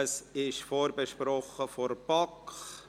Es wurde von der BaK vorberaten.